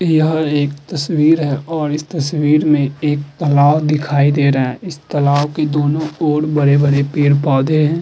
यह एक तस्वीर है और इस तस्वीर मे एक तालाब दिखाई दे रहा है। इस तस्वीर के दोनों ओर बड़े- बड़े पेड़ पौधे हैं।